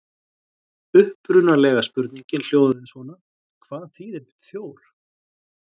Upprunalega spurningin hljóðaði svona: Hvað þýðir þjór?